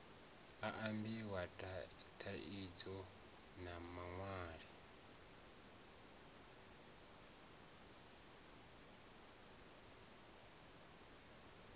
a ambiwa tanzania na malawi